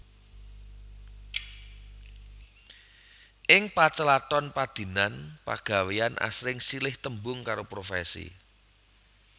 Ing pacelaton padinan pagawéyan asring silih tembung karo profèsi